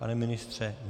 Pane ministře?